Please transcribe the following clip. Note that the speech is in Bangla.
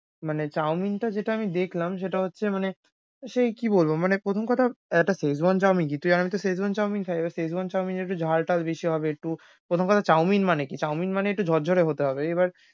মানে chow-mein টা যেটা আমি দেখলাম সেটা হচ্ছে মানে সে কি বলবো মানে প্রথম কথা হচ্ছে একটা Szechuan chow-mein যেটাতে, আমিতো Szechuan chow-mein খায়, এবার Szechuan chow-mein এ একটু ঝালটাল বেশি হবে, একটু প্রথম কথা chow-mein মানে কি? chow-mein মানে একটু ঝরঝরে হতে হবে। এবার